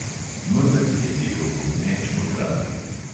Mezeg je tekel bobneč po travi.